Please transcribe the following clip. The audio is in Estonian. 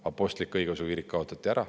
Apostlik-õigeusu kirik kaotati ära.